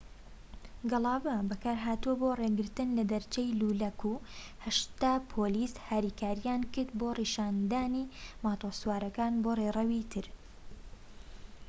گەڵابە بەکارهاتووە بۆ ڕێگرتن لە دەرچەی لولەکە و ٨٠ پۆلیس هاریکاریان کرد بۆ ڕێنیشاندانی ماتۆرسوارەکان بۆ ڕێڕەوی تر